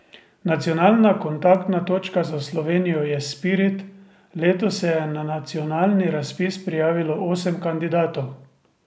Nacionalna kontaktna točka za Slovenijo je Spirit, letos se je na nacionalni razpis prijavilo osem kandidatov.